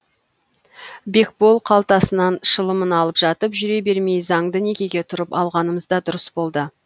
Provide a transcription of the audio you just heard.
бекбол қалтасынан шылымын алып жатып жүре бермей заңды некеге тұрып алғанымыз да дұрыс болды